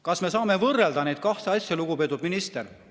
Kas me saame võrrelda neid kahte asja, lugupeetud minister?